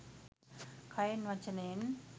කයෙන් වචනයෙන්